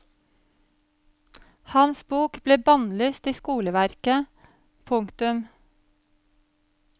Hans bok ble bannlyst i skoleverket. punktum